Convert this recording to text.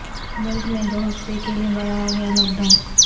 ملک میں دو ہفتے کے لئے بڑھایا گیا لاک ڈاون